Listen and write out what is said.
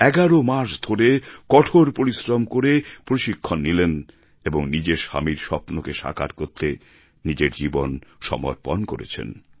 ১১ মাস ধরে কঠোর পরিশ্রম করে প্রশিক্ষণ নিলেন এবং নিজের স্বামীর স্বপ্নকে সাকার করতে নিজের জীবন সমর্পণ করেছেন